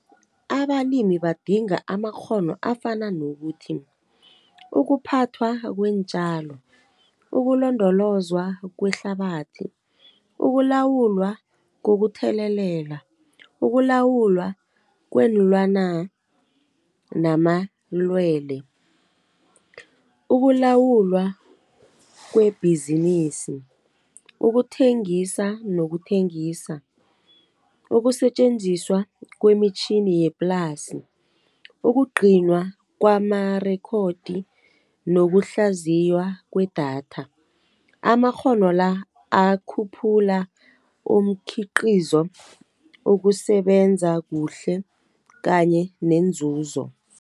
Abalimi badinga amakghono afana nokuthi, ukuphathwa kweentjalo, ukulondolozwa kwehlabathi, ukulawulwa kokuthelelela, ukulawulwa kweenlwana namalwele, ukulawulwa kwebhizinisi, nokuthengisa, ukusetjenziswa kwemitjhini yeplasi, ukugcinwa kwamarekhodi, nokuhlaziywa kwedatha. Amakghono la akhuphula umkhiqizo, ukusebenza kuhle kanye nenzuzo.